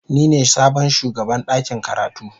Ni ne sabon shugaban dakin karatu.